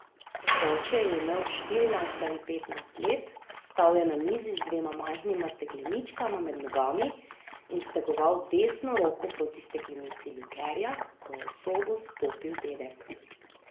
Oče je imel štirinajst ali petnajst let, stal je na mizi z dvema majhnima stekleničkama med nogami in stegoval desno roko proti steklenici likerja, ko je v sobo vstopil dedek.